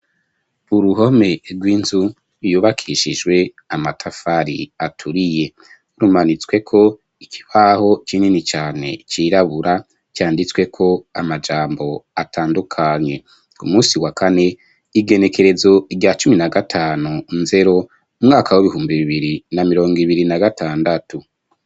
Uruhome rw'inzu yubakishijwe amatafari aturiye rumanitswe ko ikibaho kinini cane cirabura canditswe ko amajambo atandukanye, umusi wa kane igenekerezo rya cumi na gatanu nzero umwaka w'ibihumbi bibiri na mirongo ibiri na gatandatu.